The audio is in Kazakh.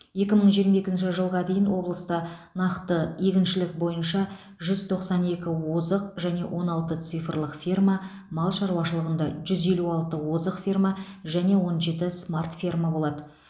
екі мың жиырма екінші жылға дейін облыста нақты егіншілік бойынша жүз тоқсан екі озық және он алты цифрлық ферма мал шаруашылығында жүз елу алты озық ферма және он жеті смарт ферма болады